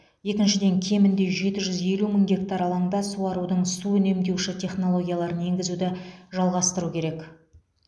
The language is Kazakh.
екіншіден кемінде жеті жүз елу мың гектар алаңда суарудың су үнемдеуші технологияларын енгізуді жалғастыру керек